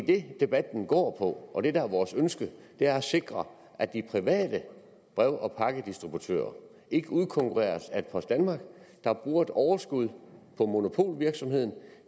det debatten går på og det der er vores ønske er at sikre at de private brev og pakkedistributører ikke udkonkurreres af et post danmark der bruger et overskud fra monopolvirksomhed